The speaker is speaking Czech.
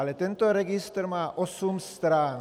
Ale tento registr má osm stran.